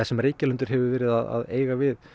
sem Reykjalundur hefur verið að eiga við